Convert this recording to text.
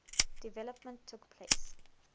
development took place